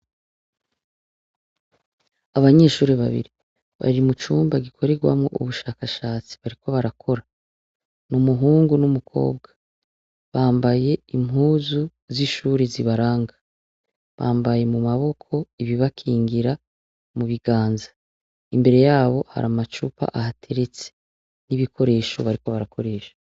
Abanyeshuri babiri bari mu cumba gikorerwamwo ubushakashatsi bariko barakora ni umuhungu n'umukobwa bambaye impuzu z'ishuri zibaranga bambaye mu maboko ibibakingira mu biganza imbere yabo hari amacupa ahateretse n'ibikoresho bariko barakoresha.